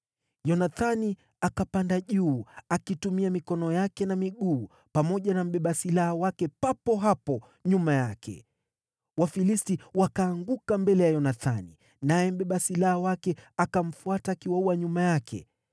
Yonathani akapanda juu, akitumia mikono yake na miguu, pamoja na mbeba silaha wake papo hapo nyuma yake. Wafilisti wakaanguka mbele ya Yonathani, naye mbeba silaha wake akamfuata akiwaua nyuma yake.